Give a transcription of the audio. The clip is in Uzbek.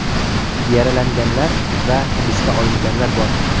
Yaralanganlar va hibsga olinganlar bor .